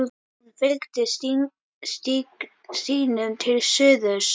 Hún fylgdi stígnum til suðurs.